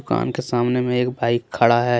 दुकान के सामने में एक बाइक खड़ा है।